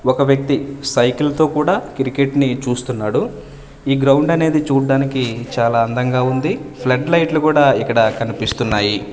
ఒక వ్యక్తి సైకిల్ తో కూడా క్రికెట్ ని చూస్తున్నాడు ఈ గ్రౌండ్ అనేది చూడ్డానికి చాలా అందంగా ఉంది ఫ్లడ్ లైట్లు కూడా ఇక్కడ కనిపిస్తున్నాయి.